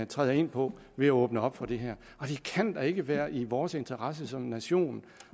træder ind på ved at åbne op for det her og det kan da ikke være i vores interesse som nation